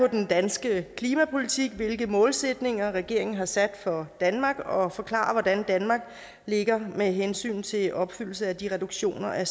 den danske klimapolitik og hvilke målsætninger regeringen har sat for danmark og forklarer hvordan danmark ligger med hensyn til opfyldelse af de reduktioner af